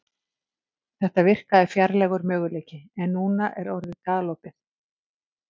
Þetta virkaði fjarlægur möguleiki en er núna orðið galopið.